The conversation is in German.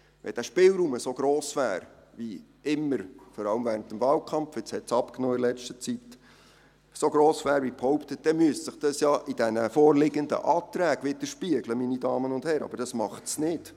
Wenn der Spielraum so gross wäre, wie immer – vor allem während des Wahlkampfs, in letzter Zeit hat es abgenommen – behauptet wird, dann müsste sich dies in den vorliegenden Anträgen widerspiegeln, meine Damen und Herren, aber das tut es nicht.